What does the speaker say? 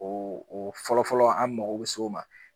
O o fɔlɔfɔlɔ an mago bɛ s'o ma.